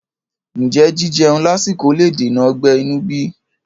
Ǹjẹ́ jíjeun lásìkò le dènà ọgbẹ́ inú bí?